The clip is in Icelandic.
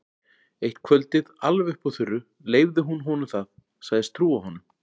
Eitt kvöldið, alveg upp úr þurru, leyfði hún honum það, sagðist trúa honum.